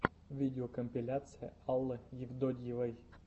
видеокомпиляция аллы евтодьевой